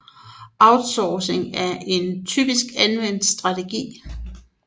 Outsourcing er en typisk anvendt strategi